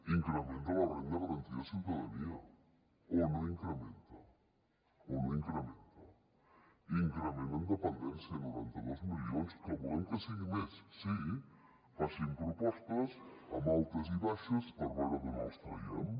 increment de la renda garantida de ciutadania o no incrementa o no incrementa increment en dependència noranta dos milions que volem que sigui més sí facin propostes amb altes i baixes per veure d’on els traiem